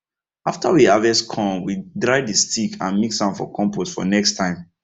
after we harvest corn we dry the stick and mix am for compost for next time